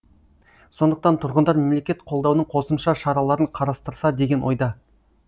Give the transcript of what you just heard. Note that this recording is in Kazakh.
сондықтан тұрғындар мемлекет қолдаудың қосымша шараларын қарастырса деген ойда